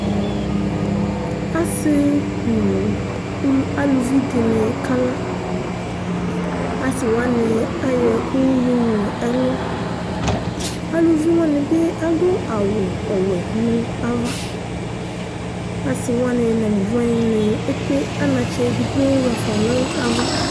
ase no aluvi di ni kala ase wani ayɔ ɛkò yowu no ɛlò aluvi wani bi ado awu ɔwɛ no ava ase wani no aluvi wani ekple anatsɛ edigbo ɣafa no ava